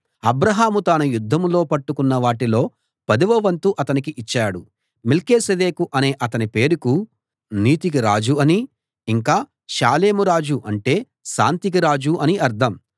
అబ్రాహాము తాను యుద్ధంలో పట్టుకున్న వాటిలో పదవ వంతు అతనికి ఇచ్చాడు మెల్కీసెదెకు అనే అతని పేరుకు నీతికి రాజు అనీ ఇంకా షాలేం రాజు అంటే శాంతికి రాజు అనీ అర్థం